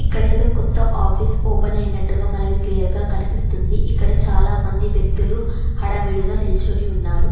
ఇక్కడ ఏదో కొత్త ఆఫీస్ ఓపెన్ అయినట్టుగా మనకి క్లియర్ గా కనిపిస్తుంది ఇక్కడ చాలా మంది వ్యక్తులు హడావిడిగా నిల్చుని ఉన్నారు.